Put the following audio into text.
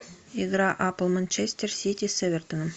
игра апл манчестер сити с эвертоном